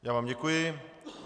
Já vám děkuji.